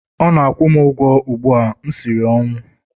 Ọ na-akwụ m ụgwọ ugbu a, m siri ọnwụ!